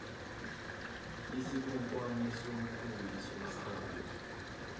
isikhonkwane somkhumbi somsakazo